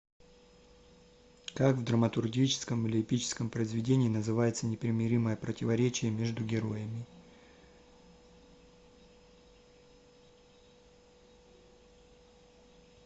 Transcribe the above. как в драматургическом или эпическом произведении называется непримиримое противоречие между героями